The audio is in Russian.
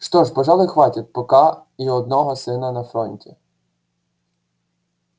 что ж пожалуй хватит пока и одного сына на фронте